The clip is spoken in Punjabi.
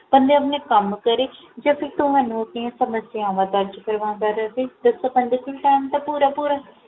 ਬੰਦਾ ਆਵਦਾ ਕਮ ਕਰੇ ਜਾ ਫੇਰ ਤੁਹਾਨੂ ਓਦੀਆਂ ਸਮਸਿਆਵਾਂ ਦਾ ਜਿਕਰ ਕਰੇ ਬੰਦੇ ਕੋਲ Time ਤਾ ਪੂਰਾ ਪੂਰਾ ਹੈ